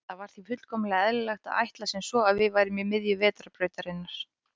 Það var því fullkomlega eðlilegt að ætla sem svo að við værum í miðju Vetrarbrautarinnar.